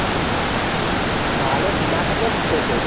ভালো না থাকলেও থাকতে হচ্ছে।